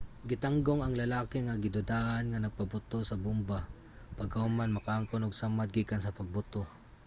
gitanggong ang lalaki nga gidudahan nga nagpaboto sa bomba pagkahuman makaangkon og mga samad gikan sa pagbuto